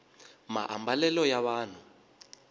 maambalelo ya vanhu